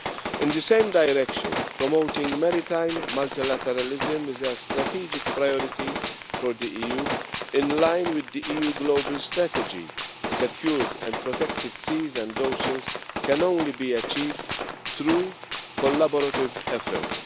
In the same direction, promoting maritime multilateralism is a strategic priority for the EU. In line with the EU global strategy, secured and protected seas and oceans can only be achieved through collaborative efforts.